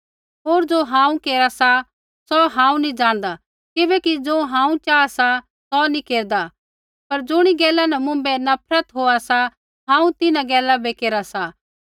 होर ज़ो हांऊँ केरा सा सौ हांऊँ नी जाणदा किबैकि ज़ो हांऊँ चाहा सा सौ नी केरदा पर ज़ुणी गैला न मुँभै नफरत होआ सा हांऊँ तिन्हां गैला बै केरा सा